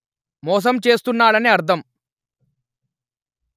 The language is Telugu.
మోసం చేస్తున్నాడని అర్థం